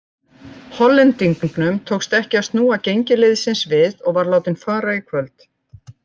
Hollendingnum tókst ekki að snúa gengi liðsins við og var látinn fara í kvöld.